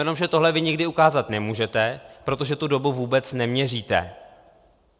Jenomže tohle vy nikdy ukázat nemůžete, protože tu dobu vůbec neměříte.